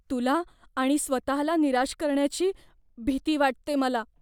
तुला आणि स्वतःला निराश करण्याची भीती वाटते मला.